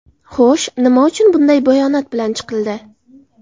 Xo‘sh, nima uchun bunday bayonot bilan chiqildi?